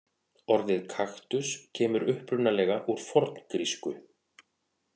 Orðið kaktus kemur upprunalega úr forngrísku.